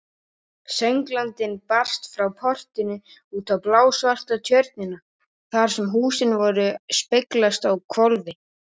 Sönglandinn barst frá portinu, út á blásvarta tjörnina þar sem húsin speglast á hvolfi.